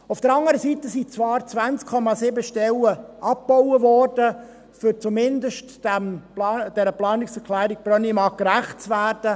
Auf der anderen Seite wurden zwar 20,7 Stellen abgebaut, um zumindest der Planungserklärung Brönnimann gerecht zu werden.